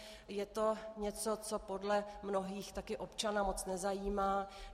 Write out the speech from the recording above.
Je to něco, co podle mnohých také občana moc nezajímá.